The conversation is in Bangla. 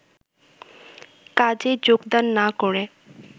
কাজে যোগদান না করে